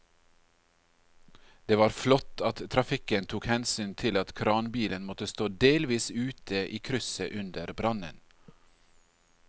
Det var flott at trafikken tok hensyn til at kranbilen måtte stå delvis ute i krysset under brannen.